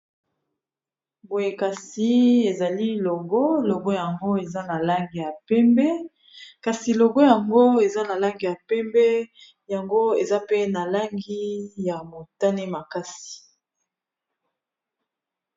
Boye kasi ezali logo, logo yango eza na langi ya mpembe kasi logo yango eza na langi ya pembe yango eza pe na langi ya motane makasi.